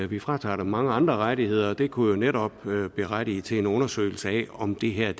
vi fratager dem mange andre rettigheder og det kunne jo netop berettige til en undersøgelse af om det her